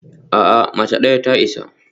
A'a, mace ɗaya ta isa